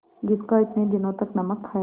जिसका इतने दिनों तक नमक खाया